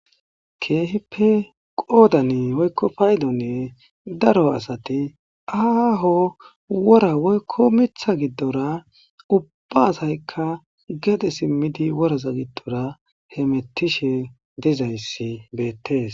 Keehippe qoodani oykko paydonne daro asati aaho wora woykko mitha giddora ubbaasaykka gede simmidi woraza giddora he mettishe dizayssi beettees.